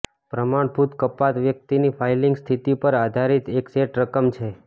પ્રમાણભૂત કપાત વ્યક્તિની ફાઇલિંગ સ્થિતિ પર આધારિત એક સેટ રકમ છે